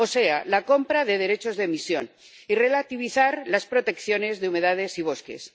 o sea, la compra de derechos de emisión, y relativizar las protecciones de humedales y bosques.